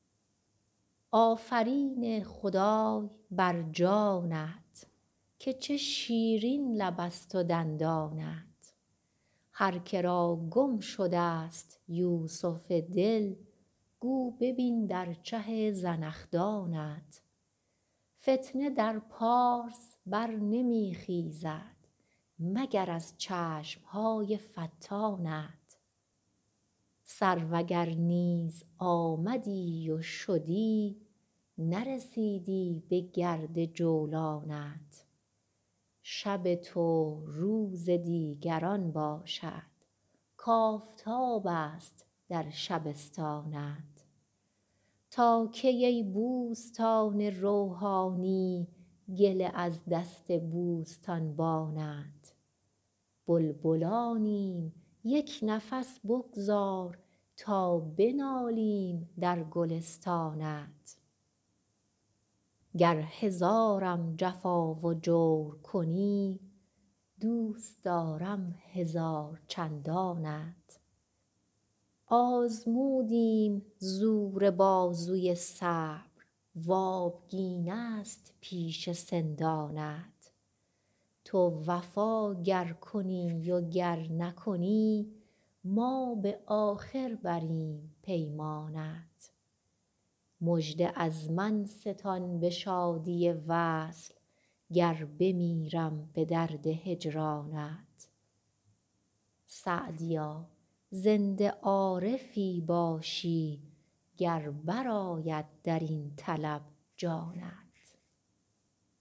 آفرین خدای بر جانت که چه شیرین لبست و دندانت هر که را گم شدست یوسف دل گو ببین در چه زنخدانت فتنه در پارس بر نمی خیزد مگر از چشم های فتانت سرو اگر نیز آمدی و شدی نرسیدی بگرد جولانت شب تو روز دیگران باشد کآفتابست در شبستانت تا کی ای بوستان روحانی گله از دست بوستانبانت بلبلانیم یک نفس بگذار تا بنالیم در گلستانت گر هزارم جفا و جور کنی دوست دارم هزار چندانت آزمودیم زور بازوی صبر و آبگینست پیش سندانت تو وفا گر کنی و گر نکنی ما به آخر بریم پیمانت مژده از من ستان به شادی وصل گر بمیرم به درد هجرانت سعدیا زنده عارفی باشی گر برآید در این طلب جانت